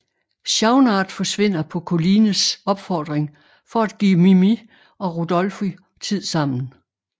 Schaunard forsvinder på Collines opfordring for at give Mimì og Rodolfo tid sammen